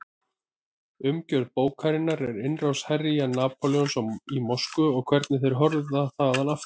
Umgjörð bókarinnar er innrás herja Napóleons í Moskvu og hvernig þeir hörfa þaðan aftur.